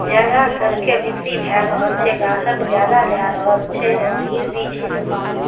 ज्यादा करके बिक्री भेए रहल छै ग्राहक ज्यादा लए रहल छै और भीड़ भी छै दुकान में।